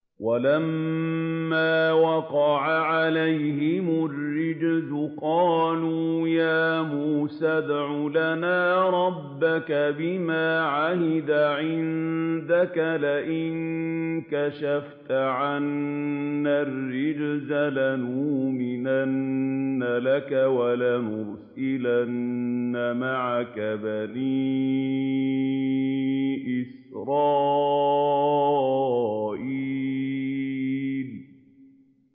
وَلَمَّا وَقَعَ عَلَيْهِمُ الرِّجْزُ قَالُوا يَا مُوسَى ادْعُ لَنَا رَبَّكَ بِمَا عَهِدَ عِندَكَ ۖ لَئِن كَشَفْتَ عَنَّا الرِّجْزَ لَنُؤْمِنَنَّ لَكَ وَلَنُرْسِلَنَّ مَعَكَ بَنِي إِسْرَائِيلَ